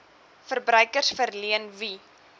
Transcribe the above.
verbruikers verleen wie